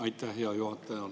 Aitäh, hea juhataja!